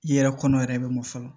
I yɛrɛ kɔnɔ yɛrɛ be mɔ fɔlɔ